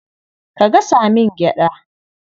Ka gasa min gyaɗa.